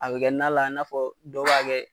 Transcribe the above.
A be kɛ nan la, i n'a fɔ dɔw b'a kɛ